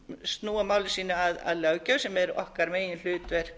snúa máli sínu að löggjöf sem er okkar meginhlutverk